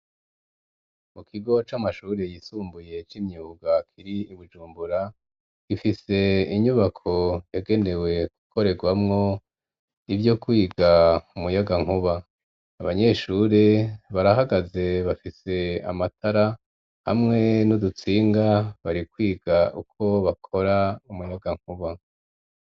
Mu kigo c'amashuri yisumbuye c'imyuga, kiri i Bujumbura, gifise inyubako yagenewe gukorerwamwo ivyo kwiga umuyagankuba; abanyeshure barahagaze bafise amatara hamwe n'udutsinga, bari kwiga uko bakora umuyagankuba.